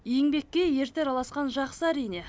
еңбекке ерте араласқан жақсы әрине